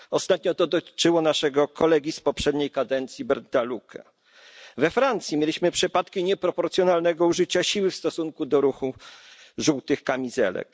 Ostatnio to dotyczyło naszego kolegi z poprzedniej kadencji Bernda Lucke. We Francji mieliśmy przypadki nieproporcjonalnego użycia siły w stosunku do ruchu żółtych kamizelek.